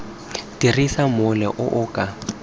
dirisa mola o o ka